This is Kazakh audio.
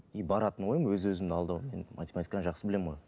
и баратынмын ғой өз өзімді алдаумен математиканы жақсы білемін ғой